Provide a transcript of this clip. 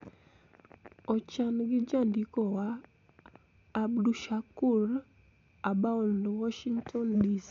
Ochan gi jandikowa, Abdushakur Aboud, Washington, DC.